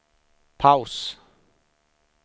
paus